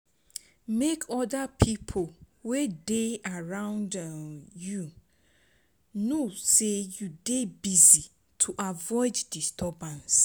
Make other pipo wey dey around um you know sey you dey busy to avoid disturbance